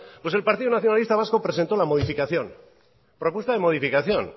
pues el partido nacionalista vasco presentó la modificación propuesta de modificación